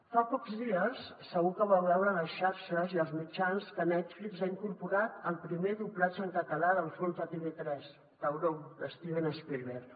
fa pocs dies segur que vau veure a les xarxes i als mitjans que netflix ha incorporat el primer doblatge en català del fons de tv3 tauró de steven spielberg